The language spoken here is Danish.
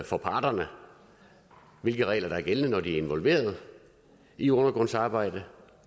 for parterne hvilke regler der er gældende når de er involveret i undergrundsarbejdet